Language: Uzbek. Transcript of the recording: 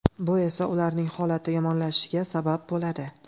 Bu esa ularning holati yomonlashishiga sabab bo‘ladi.